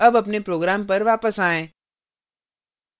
अब अपने program पर वापस आएँ